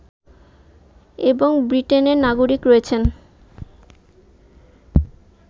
এবং ব্রিটেনের নাগরিক রয়েছেন